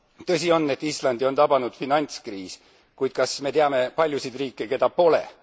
Tõsi on, et Islandit on tabanud finantskriis, kuid kas me teame paljusid riike, keda pole?